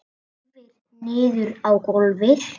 Horfir niður á gólfið.